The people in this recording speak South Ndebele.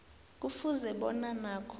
kufuze bona nakho